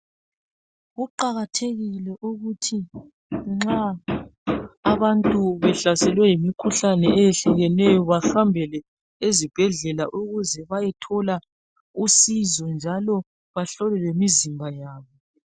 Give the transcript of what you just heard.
Kuqakathekile ukuthi abantu nxa behlaselwe yimikhuhlane eyehlukeneyo bahambele ezibhedlela ukuze bayethola usizo njalo bahlolwe lemizimba yabo.